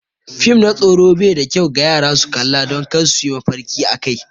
Fim na tsoro bai da kyau ga yara su kalla don kar su yi mafarki akai.